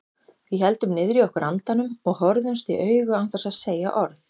Við héldum niðri í okkur andanum og horfðumst í augu án þess að segja orð.